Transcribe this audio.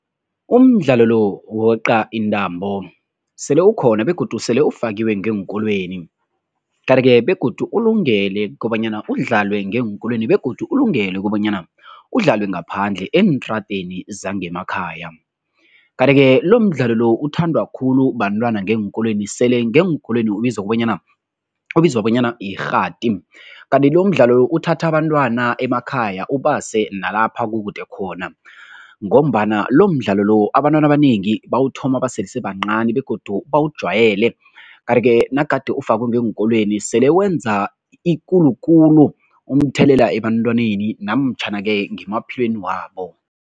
Umdlalo lo wokweqa intambo sele ukhona begodu sele ufakiwe ngeenkolweni. Kanti-ke begodu ulungele kobanyana udlalwe ngeenkolweni begodu ulungele kobanyana udlalwe ngaphandle eentradeni zangemakhaya. Kanti-ke lomdlalo lo uthandwa khulu bantwana ngeenkolweni sele ngeenkolweni ubizwa kobanyana ubizwa bonyana yirhati kanti lomdlalo uthatha abantwana emakhaya ubase nalapha kukude khona ngombana lomdlalo lo, abantwana abanengi bawuthoma basesebancani begodu bawujwayele kanti-ke nagade ufakwe ngeenkolweni sele wenza ekulu khulu umthelela ebantwaneni namtjhana-ke ngemaphilweni wabo.